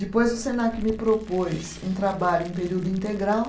Depois o Senac me propôs um trabalho em período integral.